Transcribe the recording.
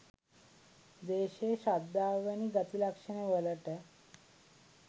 ද්වේෂය, ශ්‍රද්ධාව වැනි ගති ලක්ෂණවලට